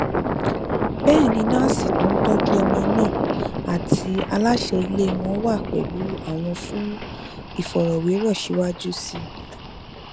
bẹẹ ni násì tó ń tọjú ọmọ náà àti aláṣẹ ilé wọn wà pẹlú àwọn fún ìfọrọwérọ síwájú sí i